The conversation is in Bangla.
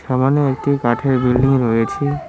বাগানে একটি কাঠের বিল্ডিং রয়েছে।